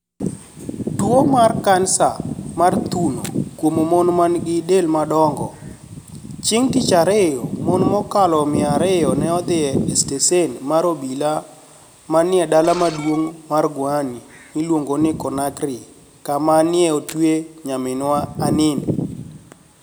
Tuwo mar kanisa mar thuno kuom mon ma nigi del madongo .Chieng ' Tich Ariyo, mon mokalo mia ariyo ne odhi e steshen mar obila manie dala maduong ' mar Guini miluongo ni Conakry, kama ni e otweye nyaminwa Anini.